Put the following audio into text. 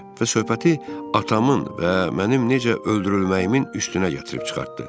Və söhbəti atamın və mənim necə öldürülməyimin üstünə gətirib çıxartdı.